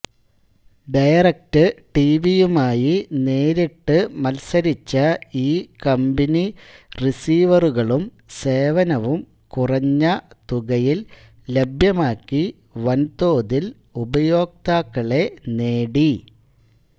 direct ടിവിയുമായി നേരിട്ട് മത്സരിച്ച ഈ കമ്പനി റീസിവറുകളും സേവനവും കുറഞ്ഞ തുകയിൽ ലഭ്യമാക്കി വൻതോതിൽ ഉപയോക്താക്കളെ നേടി